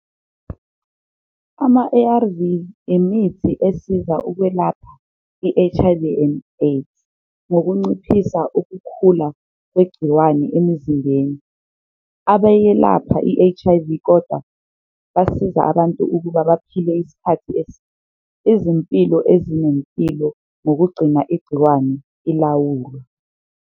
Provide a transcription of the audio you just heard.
Ama-A_R_V imithi esiza ukwelapha i-H_I_V and AIDS ngokunciphisa ukukhula kwegciwane emuzimbeni, abayelapha i-H_I_V kodwa basiza abantu ukuba baphile isikhathi . Izimpilo ezinempilo ngokugcina igciwane ilawulwe.